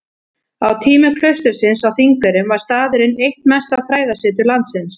Á tímum klaustursins á Þingeyrum var staðurinn eitt mesta fræðasetur landsins.